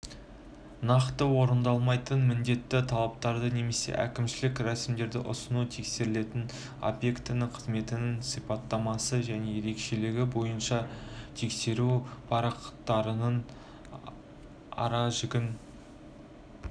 нақты орындалмайтын міндетті талаптарды немесе әкімшілік рәсімдерді ұсыну тексерілетін объекті қызметініңсипаттамасы және ерекшелігі бойыншатексеру парақтарыныңара жігін